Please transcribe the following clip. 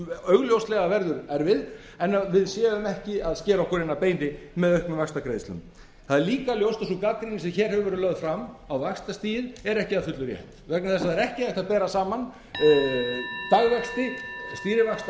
augljóslega verður erfið en við séum ekki að skera okkur inn að beini með auknum vaxtagreiðslum það er líka ljóst að sú gagnrýni sem hér hefur verið lögð fram á vaxtastigið er ekki að fullu rétt vegna þess að það er ekki hægt að bera saman dagvexti stýrivaxta erlendis og svo